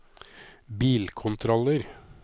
bilkontroller